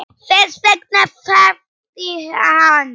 Þess vegna þagði hann.